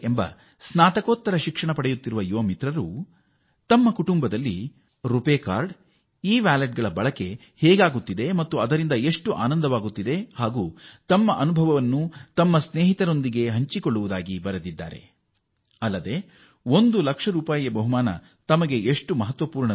ಒಬ್ಬರು ಸ್ನಾತಕೋತ್ತರ ವಿದ್ಯಾರ್ಥಿನಿ ಮಹಾರಾಷ್ಟ್ರದ ಪೂಜಾ ನೆಮಾಡೆ ಅವರು ಹೇಗೆ ತಮ್ಮ ಕುಟುಂಬದ ಸದಸ್ಯರು ರೂಪೇ ಕಾರ್ಡ್ ಮತ್ತು ಇ ವ್ಯಾಲೆಟ್ ಸೌಲಭ್ಯ ಬಳಸುತ್ತಿದ್ದಾರೆ ಮತ್ತು ಹೇಗೆ ಅದರಿಂದ ಆನಂದ ಪಡುತ್ತಿದ್ದಾರೆ ಹಾಗೂ ಒಂದು ಲಕ್ಷ ರೂಪಾಯಿಗಳ ಬಹುಮಾನದ ಹಣ ಎಷ್ಟು ಅವರಿಗೆ ಮಹತ್ವ ಎಂಬ ತಮ್ಮ ಅನುಭವವನ್ನು ಗೆಳೆಯರೊಂದಿಗೆ ಹಂಚಿಕೊಳ್ಳುತ್ತಿದ್ದಾರೆ